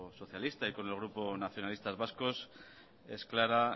socialista y con el grupo nacionalistas vascos es clara